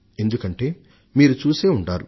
గత కొంత కాలంగా మీరు చూసే ఉంటారు